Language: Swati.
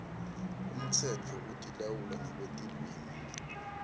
umtsetfo wekutilawula ngekwetilwimi